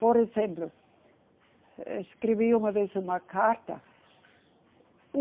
Por exemplo, escrevi uma vez uma carta.